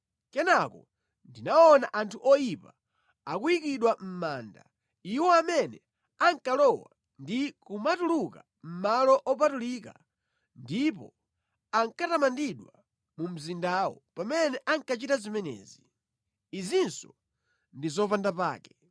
Kenaka, ndinaona anthu oyipa akuyikidwa mʼmanda, iwo amene ankalowa ndi kumatuluka mʼmalo opatulika ndipo ankatamandidwa mu mzindawo pamene ankachita zimenezi. Izinso ndi zopandapake.